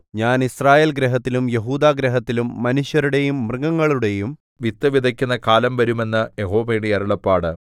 ഞാൻ യിസ്രായേൽഗൃഹത്തിലും യെഹൂദാഗൃഹത്തിലും മനുഷ്യരുടെയും മൃഗങ്ങളുടെയും വിത്ത് വിതയ്ക്കുന്ന കാലം വരും എന്ന് യഹോവയുടെ അരുളപ്പാട്